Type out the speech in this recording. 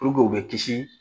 u bɛ kisi